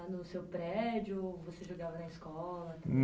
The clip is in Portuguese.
Lá no seu prédio ou você jogava na escola?